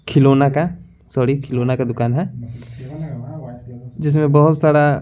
खिलौना का सॉरी खिलौना का दुकान है जिसमें बहोत सारा --